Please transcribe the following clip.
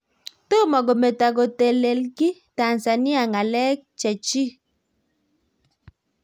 Tomo kometo kotelelgi Tanzania ngalek chechik